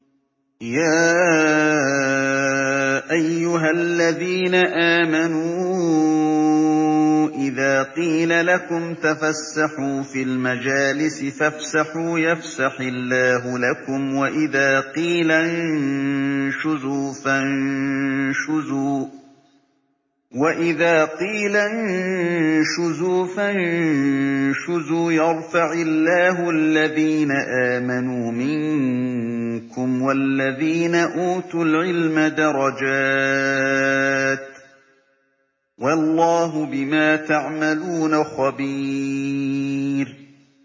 يَا أَيُّهَا الَّذِينَ آمَنُوا إِذَا قِيلَ لَكُمْ تَفَسَّحُوا فِي الْمَجَالِسِ فَافْسَحُوا يَفْسَحِ اللَّهُ لَكُمْ ۖ وَإِذَا قِيلَ انشُزُوا فَانشُزُوا يَرْفَعِ اللَّهُ الَّذِينَ آمَنُوا مِنكُمْ وَالَّذِينَ أُوتُوا الْعِلْمَ دَرَجَاتٍ ۚ وَاللَّهُ بِمَا تَعْمَلُونَ خَبِيرٌ